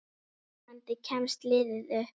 Vonandi kemst liðið upp.